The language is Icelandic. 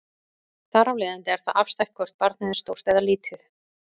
Þar af leiðandi er það afstætt hvort barnið er stórt eða lítið.